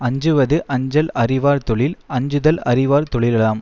அஞ்சுவது அஞ்சல் அறிவார் தொழில் அஞ்சுதல் அறிவார் தொழிலாம்